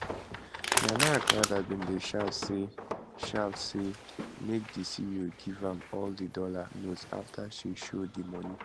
nana agradaa bin dey shout say shout say make di ceo give am all di dollar notes afta she show di moni